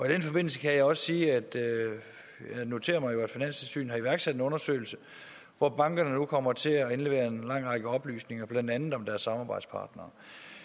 den forbindelse kan jeg også sige at jeg noterer mig at finanstilsynet har iværksat en undersøgelse hvor bankerne nu kommer til at indlevere en lang række oplysninger blandt andet om deres samarbejdspartnere